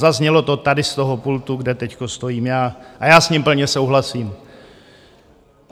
Zaznělo to tady z toho pultu, kde teď stojím já, a já s ním plně souhlasím.